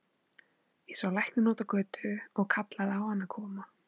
Ég sá lækninn úti á götu og kallaði á hann að koma.